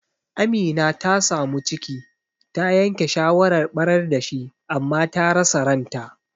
Amina ta samu ciki, ta yanke shawarar ɓarar dashi, amma ta rasa ranta.